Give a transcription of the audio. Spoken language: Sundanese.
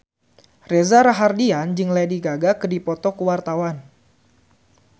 Reza Rahardian jeung Lady Gaga keur dipoto ku wartawan